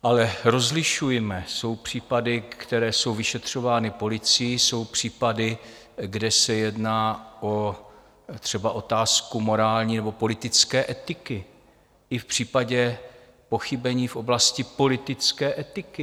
Ale rozlišujme, jsou případy, které jsou vyšetřovány policií, jsou případy, kde se jedná třeba o otázku morální nebo politické etiky, i v případě pochybení v oblasti politické etiky.